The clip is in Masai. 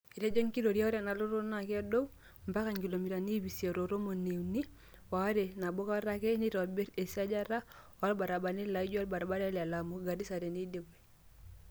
Etejo enkitoria ore ena lototo naa kedouu ombaka inkilomitani iip isiet o tomoni unii o aare nabokata ake teinitobirr esiajata oo ilbaribarani laaijo olbaribari le Lamu - Garisaa teneidipi.